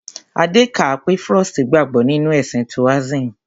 Adé kà á pé Frost gbàgbọ́ nínú ẹ̀sìn Toasim.